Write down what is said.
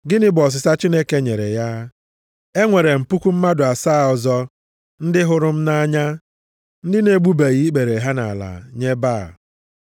Gịnị bụ ọsịsa Chineke nyere ya? “E nwere m puku mmadụ asaa ọzọ ndị hụrụ m nʼanya, ndị na-egbubeghị ikpere ha nʼala nye Baal.” + 11:4 \+xt 1Ez 19:18\+xt*